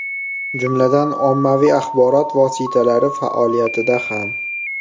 Jumladan, ommaviy axborot vositalari faoliyatida ham.